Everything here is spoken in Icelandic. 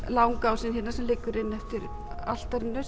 langi ásinn sem liggur inn eftir altarinu